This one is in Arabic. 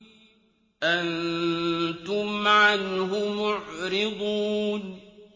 أَنتُمْ عَنْهُ مُعْرِضُونَ